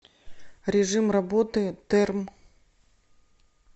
режим работы терм